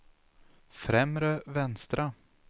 främre vänstra